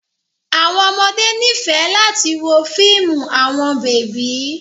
Awọn ọmọde nifẹ lati wo fiimu awọn bebi